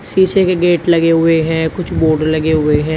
शीशे के गेट लगे हुए हैं कुछ बोर्ड लगे हुए हैं।